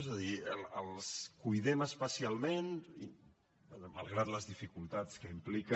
és a dir els cuidem especialment i malgrat les dificultats que implica